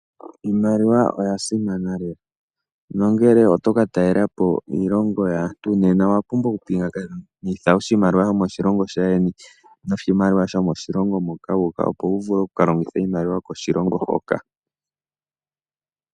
Iimaliwa oya simana lela. Ngele toka taalelapo iilongo yaantu Nena owapumbwa okupingakanitha oshimaliwa shaandjeni noshimaliwa shomoshilongo moka opo wuvule okukalongitha iimaliwa yokiilongo hoka.